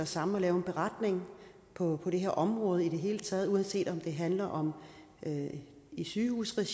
sammen og laver en beretning på det her område i det hele taget uanset om det handler om sygehusregi